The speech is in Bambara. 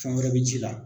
Fɛn wɛrɛ bɛ ci la